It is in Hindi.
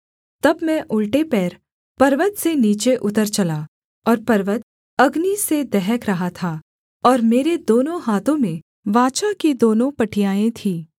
तब मैं उलटे पैर पर्वत से नीचे उतर चला और पर्वत अग्नि से दहक रहा था और मेरे दोनों हाथों में वाचा की दोनों पटियाएँ थीं